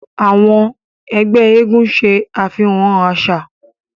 Àwọn ẹgbẹ́ eégún ṣe àfihàn àṣà.